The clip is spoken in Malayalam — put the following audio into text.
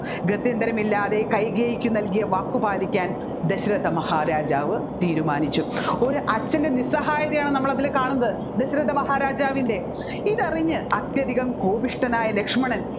ഗത്യന്തരമില്ലാതെ കൈകേയിക്ക് നൽകിയ വാക് പാലിക്കാൻ ദശരഥ മഹാരാജാവ് തീരുമാനിച്ചു ഒരച്ഛൻറെ നിസ്സഹായതയാണ് നമ്മൾ അതിൽ കാണുന്നത് ദശരഥ മഹാരാജാവിൻറെ ഇതറിഞ്ഞ അത്യധികം കോപിഷ്ഠനായ ലക്ഷ്മണൻ